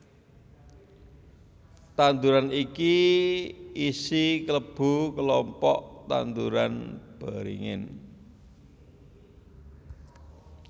Tanduran iki isi klebu kelompok tanduran beringin